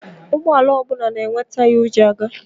Ụgbọala ọbụla na-enwe taya o ji aga.